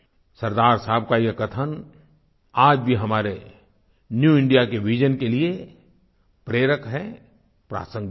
सरदार साहब का ये कथन आज भी हमारे न्यू इंडिया के विजन के लिए प्रेरक है प्रासंगिक हैं